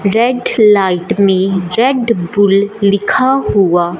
red light में Red Bull लिखा हुआ--